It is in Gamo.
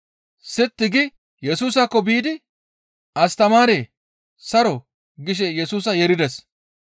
Sitti gi Yesusaakko biidi, «Astamaaree! Saro» gishe Yesusa yeerides.